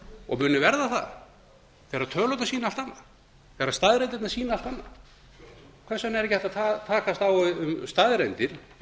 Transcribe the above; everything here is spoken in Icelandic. og munu verða það þegar tölurnar sýna allt annað þegar staðreyndirnar sýna allt annað hvers vegna er ekki hægt að takast á um staðreyndir eins